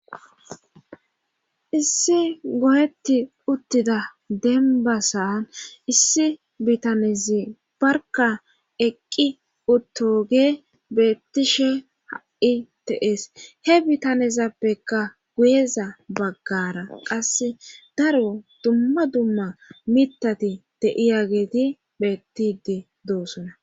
issi goyetti uttida demba san issi bitanezi barka eqqi uttoge beettishe ha7i teees he bitanezappekka guyeza baggara qase daro dumma dumma mitati de7iyageeti beettidi doosona